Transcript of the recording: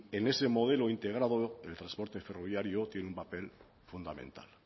en ese modelo integrado el transporte ferroviario tiene un papel fundamental